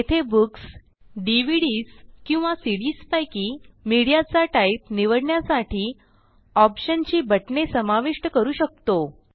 येथे books DVDs किंवा CDs पैकी मीडिया चा टाईप निवडण्यासाठी ऑप्शन ची बटणे समाविष्ट करू शकतो